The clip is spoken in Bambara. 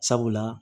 Sabula